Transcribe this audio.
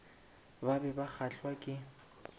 ba be ba kgahlwa ke